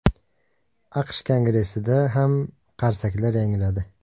AQSh Kongressida ham qarsaklar yangradi.